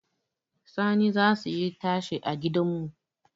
Sani zasu yi tashe a gidanmu